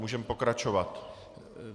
Můžeme pokračovat.